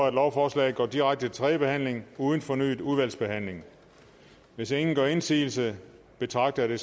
at lovforslaget går direkte til tredje behandling uden fornyet udvalgsbehandling hvis ingen gør indsigelse betragter